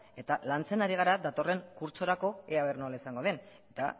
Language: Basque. eta lantzen ari gara datorren kurtsorako ea aber nola izango den eta